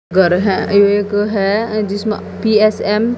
घर हैं एक है जिसमें पी_एस_एम --